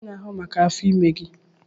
Kedu onye na-ahụ maka afọ ime gị?